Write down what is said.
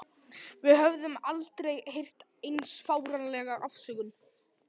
Við höfðum aldrei heyrt eins fáránlega afsökun.